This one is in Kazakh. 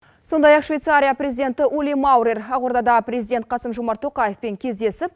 сондай ақ швейцария президенті ули маурер ақордада президент қасым жомарт тоқаевпен кездесіп